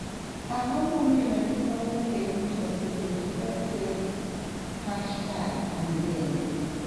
ang'o momiyo joma wakeini osebedo katiyo gi #anbende